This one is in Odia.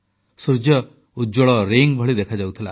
ସୂର୍ଯ୍ୟ ଉଜ୍ଜ୍ୱଳ ବଳୟ ଭଳି ଦେଖାଯାଉଥିଲା